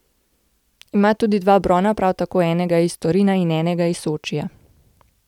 Ima tudi dva brona, prav tako enega iz Torina in enega iz Sočija.